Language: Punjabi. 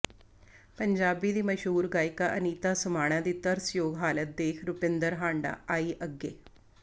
ਪੰਜਾਬੀ ਦੀ ਮਸ਼ਹੂਰ ਗਾਇਕਾ ਅਨੀਤਾ ਸਮਾਣਾ ਦੀ ਤਰਸਯੋਗ ਹਾਲਤ ਦੇਖ ਰੁਪਿੰਦਰ ਹਾਂਡਾ ਆਈ ਅੱਗੇ